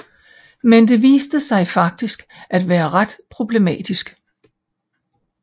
Men det viser sig faktisk at være ret problematisk